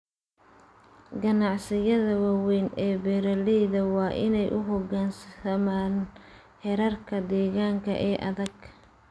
Ganacsiyada waaweyn ee beeralayda waa inay u hoggaansamaan xeerarka deegaanka ee adag.